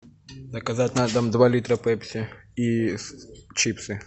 заказать на дом два литра пепси и чипсы